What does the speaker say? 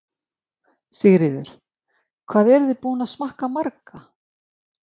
Sigríður: Hvað eruð þið búin að smakka marga?